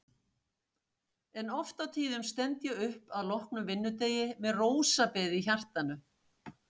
En oft á tíðum stend ég upp að loknum vinnudegi með rósabeð í hjartanu.